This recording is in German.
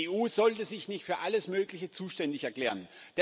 Die EU sollte sich nicht für alles Mögliche zuständig erklären.